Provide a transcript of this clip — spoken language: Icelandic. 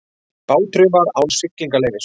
Báturinn var án siglingaleyfis